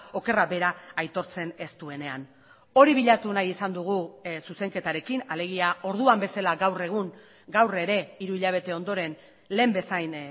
okerra bera aitortzen ez duenean hori bilatu nahi izan dugu zuzenketarekin alegia orduan bezala gaur egun gaur ere hiru hilabete ondoren lehen bezain